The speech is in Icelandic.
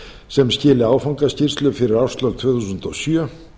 sem skili áfangaskýrslu fyrir árslok tvö þúsund og sjö